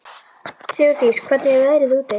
Sigurdís, hvernig er veðrið úti?